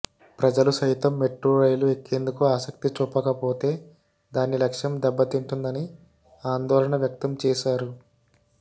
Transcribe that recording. ప్రజలు సైతం metro rail ఎక్కేందుకు ఆసక్తి చూపకపోతే దాని లక్ష్యం దెబ్బతింటుందని ఆందోళన వ్యక్తం చేశారు